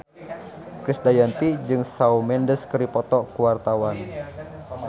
Krisdayanti jeung Shawn Mendes keur dipoto ku wartawan